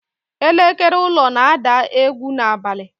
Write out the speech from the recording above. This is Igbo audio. Elekere ụlọ na-ada egwu n'abalị.